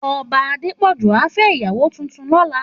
Òbá Adepoju á fè iyàwó tútún lòlá